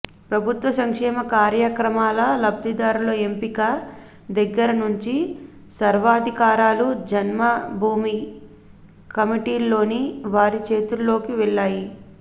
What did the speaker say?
ప్రభుత్వ సంక్షేమ కార్యక్రమాల లబ్ధిదారుల ఎంపిక దగ్గర నుంచి సర్వాధికారాలూ జన్మభూమి కమిటీల్లోని వారి చేతుల్లోకే వెళ్లాయి